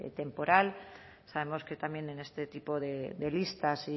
temporal sabemos que también en este tipo de listas